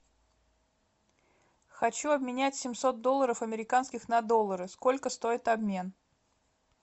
хочу обменять семьсот долларов американских на доллары сколько стоит обмен